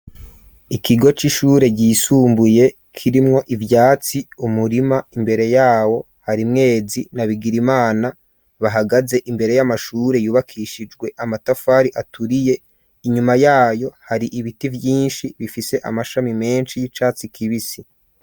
Ikigo c'ishure, ryisumbuye, kirimwo ivyatsi, umurima; imbere yawo, hari Mwezi, na Bigirimana, bahagaze imbere y'amashure, yubakishijwe amatafari, aturiye; inyuma yayo, hari ibiti vyinshi, bifise amashami menshi, y'icatsi kibisi.